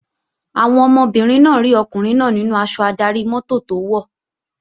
Àwọn ọmọbìnrin náà rí ọkùnrin náà nínú aṣọ adarí-mọ́tò tó wọ̀